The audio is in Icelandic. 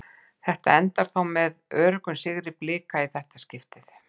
Þetta endar þó með öruggum sigri Blika í þetta skiptið.